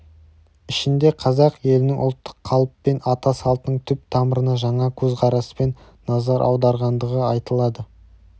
ішінде қазақ елінің ұлттық қалып пен ата салтының түп тамырына жаңа көзқараспен назар аударғандығы айтылады